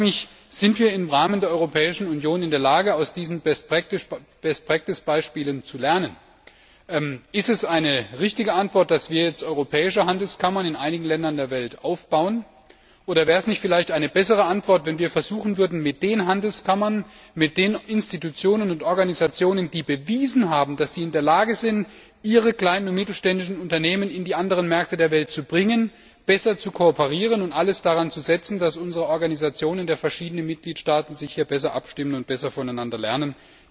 Und ich frage mich Sind wir im Rahmen der Europäischen Union in der Lage, aus diesen Best Practice Beispielen zu lernen? Ist es die richtige Antwort, dass wir jetzt in einigen Ländern der Welt europäische Handelskammern aufbauen? Oder wäre es nicht vielleicht eine bessere Antwort, wenn wir versuchen würden, mit den Handelskammern, mit den Institutionen und Organisationen, die bewiesen haben, dass sie in der Lage sind, ihre kleinen und mittelständischen Unternehmen in die anderen Märkte der Welt zu bringen, besser zu kooperieren und alles daran zu setzen, dass unsere Organisationen in den verschiedenen Mitgliedstaaten sich hier besser abstimmen und besser voneinander lernen?